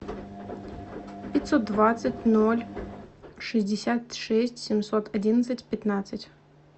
пятьсот двадцать ноль шестьдесят шесть семьсот одиннадцать пятнадцать